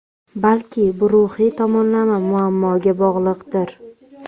Balki bu ruhiy tomonlama muammoga bog‘liqdir.